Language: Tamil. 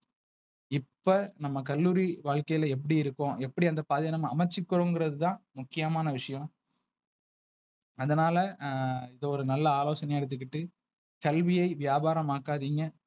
இப்ப நம்ம கல்லூரி வாழ்க்கைல எப்டி இருக்கும் எப்டி அந்த பாதைய நம்ம அமச்சுக்குறோங்குறதுதா முக்கியமான விஷயம். அதனால ஆஹ் இது ஒரு நல்ல ஆலோசனையா எடுத்துக்குட்டு கல்வியை வியாபார மாக்கதிங்க.